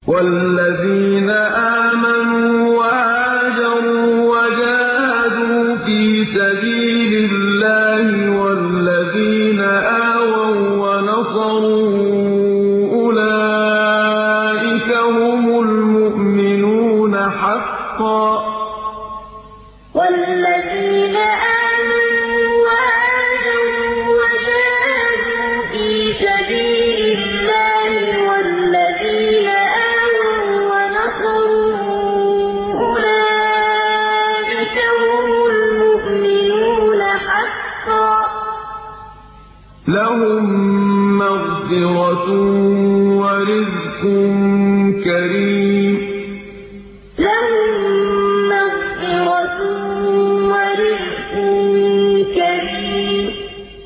وَالَّذِينَ آمَنُوا وَهَاجَرُوا وَجَاهَدُوا فِي سَبِيلِ اللَّهِ وَالَّذِينَ آوَوا وَّنَصَرُوا أُولَٰئِكَ هُمُ الْمُؤْمِنُونَ حَقًّا ۚ لَّهُم مَّغْفِرَةٌ وَرِزْقٌ كَرِيمٌ وَالَّذِينَ آمَنُوا وَهَاجَرُوا وَجَاهَدُوا فِي سَبِيلِ اللَّهِ وَالَّذِينَ آوَوا وَّنَصَرُوا أُولَٰئِكَ هُمُ الْمُؤْمِنُونَ حَقًّا ۚ لَّهُم مَّغْفِرَةٌ وَرِزْقٌ كَرِيمٌ